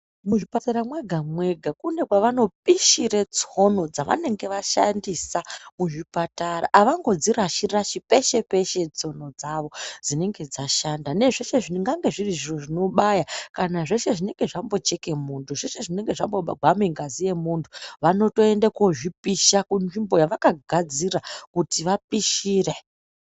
Muzvipatara mwega-mwega mune mevanopishira tsono dzavanenge vashandisa kuzvipatara, avangodzirashi-rashi peshe-peshe tsono dzavo dzinenge dzashanda nezveszhe zvingange zviri zviro zvinobaya kana zveshe zvinenge zvambocheke muntu. Zveshe zvinenge zvambogwame ngazi yemuntu, vanotoende kozvipisha kunzvimbo yevakagadzira kuti vapishire.